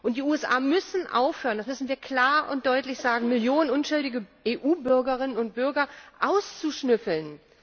Die USA müssen aufhören das müssen wir klar und deutlich sagen Millionen unschuldiger EU Bürgerinnen und Bürger auszuschnüffeln.